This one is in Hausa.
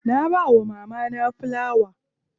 Na bawa mamana filawa.